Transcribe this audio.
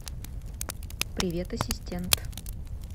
привет ассистент